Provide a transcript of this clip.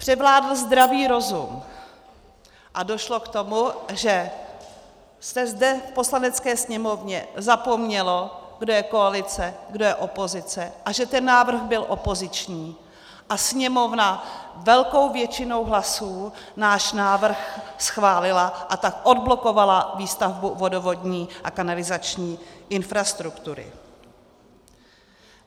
Převládl zdravý rozum a došlo k tomu, že se zde v Poslanecké sněmovně zapomnělo, kdo je koalice, kdo je opozice a že ten návrh byl opoziční, a Sněmovna velkou většinou hlasů náš návrh schválila, a tak odblokovala výstavbu vodovodní a kanalizační infrastruktury.